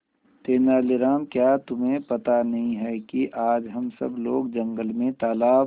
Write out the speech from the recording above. तेनालीराम क्या तुम्हें पता नहीं है कि आज हम सब लोग जंगल में तालाब